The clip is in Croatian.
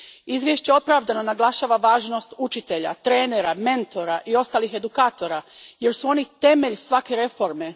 Izvješće opravdano naglašava važnost učitelja, trenera, mentora i ostalih edukatora jer su oni temelj svake reforme.